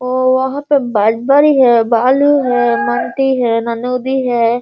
वो वहां पे है बालू है माटी है है।